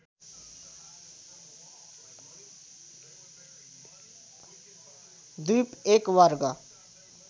द्विप १ वर्ग